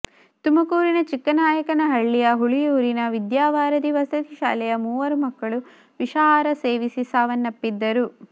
ತುಮಕೂರಿನ ಚಿಕ್ಕನಾಯಕನಹಳ್ಳಿಯ ಹುಳಿಯೂರಿನ ವಿದ್ಯಾವಾರಧಿ ವಸತಿ ಶಾಲೆಯ ಮೂವರು ಮಕ್ಕಳು ವಿಷಾಹಾರ ಸೇವಿಸಿ ಸಾವನ್ನಪ್ಪಿದ್ದರು